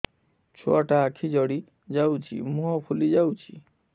ଛୁଆଟା ଆଖି ଜଡ଼ି ଯାଉଛି ମୁହଁ ଫୁଲି ଯାଉଛି